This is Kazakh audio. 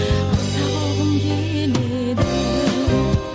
ақтап алғым келеді